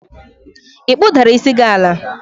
ị kpụdara isi gi ala?